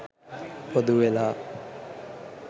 පොදු වෙලා